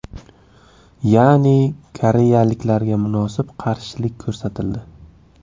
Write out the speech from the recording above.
Ya’ni koreyaliklarga munosib qarshilik ko‘rsatildi.